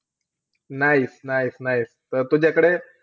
Nice nice nice त तूझ्याकडे,